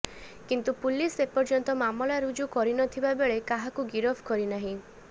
କିନ୍ତୁ ପୁଲିସ ଏପର୍ୟ୍ୟନ୍ତ ମାମଲା ରୁଜୁ କରିନଥିବା ବେଳେ କାହାକୁ ଗିରଫ କରିନାହିଁ